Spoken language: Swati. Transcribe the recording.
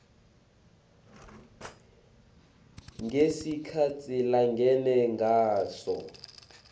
ngesikhatsi langene ngaso